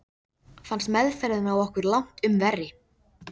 Fannst meðferðin á okkur langtum verri.